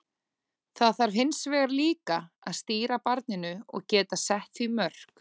Það þarf hins vegar líka að stýra barninu og geta sett því mörk.